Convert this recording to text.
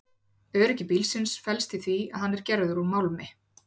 Öryggi bílsins felst í því að hann er gerður úr málmi.